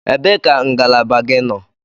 Ebee ka ngalaba gị nọ?